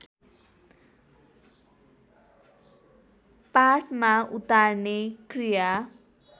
पाठमा उतार्ने क्रिया